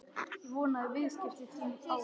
Ég vona að viðskipti þín á